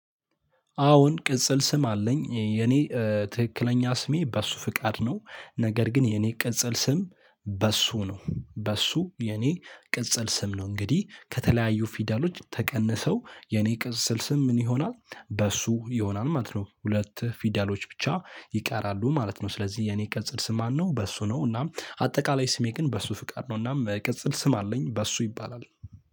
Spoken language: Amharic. አዎን ቅጽል ስም አለኝ የኔ ትክክለኛ ስሜ በእሱፍቃድ ነው። ነገር ግን የኔ ቅጽል ስም። በሱ ነው በሱ የኔ ቅጽል ስም ነው። እንግዲህ ከተለያዩ ፊደሎች ተቀንሰው የኔ ቅጽል ስም ምን ይሆናል? በሱ ይሆናል ማለት ነው። ሁለት ፊደሎች ብቻ ይቃራሉ ማለት ነው። ስለዚህ የኔ ቅጽል ስም ማን ነው? በሱ ነው። እናም አጠቃላይ ስሜ ግን በእሱፍቃድ ነው እና ቅጽል ስም አለኝ በሱ ይባላል።